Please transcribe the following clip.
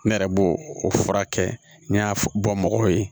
Ne yɛrɛ b'o furakɛ n'i y'a bɔ mɔgɔw ye